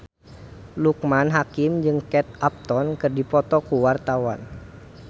Loekman Hakim jeung Kate Upton keur dipoto ku wartawan